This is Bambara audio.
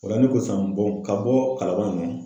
O la ne ko san ka bɔ kalaban yan